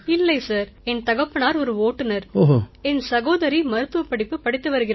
இல்லை சார் என் தகப்பனார் ஒரு ஓட்டுநர் என் சகோதரி மருத்துவப் படிப்பு படித்து வருகிறாள்